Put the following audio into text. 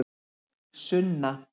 Sunna